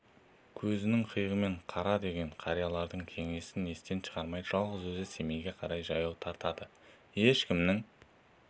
көзіңнің қиығымен қара деген қариялардың кеңесін естен шығармай жалғыз өзі семейге қарай жаяу тартады ешкімнің